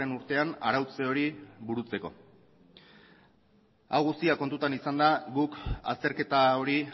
urtean arautze hori burutzeko hau guztia kontutan izanda guk azterketa hori